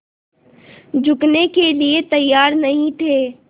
झुकने के लिए तैयार नहीं थे